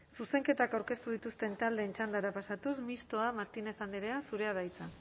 zuzenketak aurkezten dituzten taldeen txandara pasatuz mistoa martínez andrea zurea da hitza